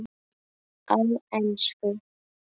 Á ensku